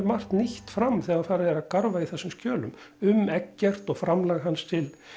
margt nýtt fram þegar farið er að garfa í þessum skjölum um Eggert og framlag hans til